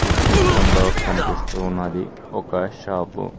ఇచిత్రంలో కనిపిస్తూ ఉన్నది ఒక షాపు .